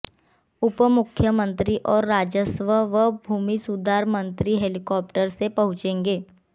उपमुख्यमंत्री और राजस्व व भूमि सुधार मंत्री हेलिकॉप्टर से पहुचेंगे